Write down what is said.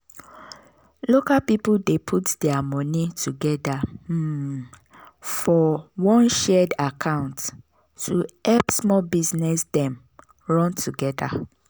local people dey put their money together um for one shared account to help small business dem run together.